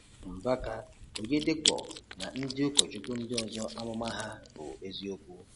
Mbaka, Oyedepo na ndị ụkọchukwu ndị ọzọ amụma ha bụ eziokwu.